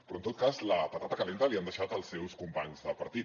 però en tot cas la patata calenta li han deixat els seus companys de partit